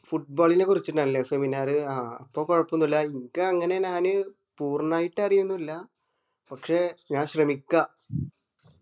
foot ball നെ കുറിച്ചിട്ടാല്ലെ seminar ആഹ് അപ്പൊ കൊഴപ്പോന്നുല്ല അനക് അങ്ങനെ നാന് പൂർണ്ണയിട്ട് അറിയൊന്നു ഇല്ല പക്ഷെ ഞാൻ ശ്രമിക്ക